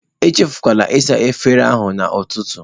Echefula ịsacha efere ahụ n'ụtụtụ.